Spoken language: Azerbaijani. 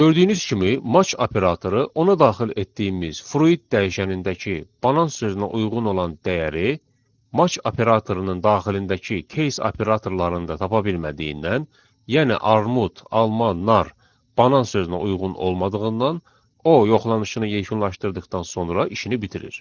Gördüyünüz kimi match operatoru ona daxil etdiyimiz fruit dəyişənindəki banan sözünə uyğun olan dəyəri match operatorunun daxilindəki case operatorlarında tapa bilmədiyindən, yəni armud, alma, nar banan sözünə uyğun olmadığından o yoxlanışını yekunlaşdırdıqdan sonra işini bitirir.